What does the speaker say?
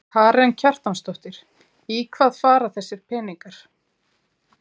Karen Kjartansdóttir: Í hvað fara þessir peningar?